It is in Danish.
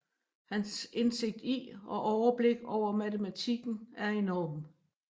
Hans indsigt i og overblik over matematikken er enorm